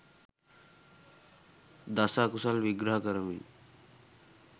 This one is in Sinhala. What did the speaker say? දස අකුසල් විග්‍රහ කරමින්